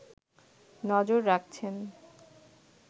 নজর রাখছেন